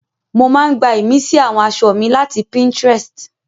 Mo máa ń gbá ìmísí àwọn aṣọ mi láti Pinterest